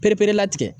Ereperela tigɛ